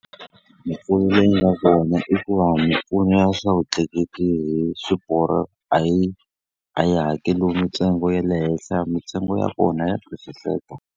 Mimpfuno leyi nga kona i ku va mimpfuno ya swa vutleketli hi swiporo a yi a yi hakeriwi mitsengo ya le henhla, mitsengo ya kona ya twisiseka.